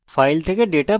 file থেকে data পড়া